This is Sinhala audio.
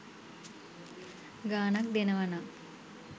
ගාණක් දෙනවනම්